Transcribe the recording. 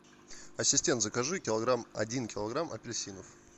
ассистент закажи килограмм один килограмм апельсинов